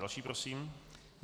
Další prosím.